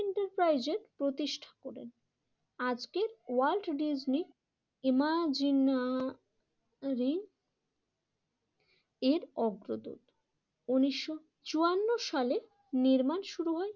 প্রতিষ্ঠা করেন, আজকের ওয়ার্ল্ড ডিজনি ইমাজিনারি এর অগ্রদূত উন্নিশশো চুয়ান্ন সালে নির্মাণ শুরু হয়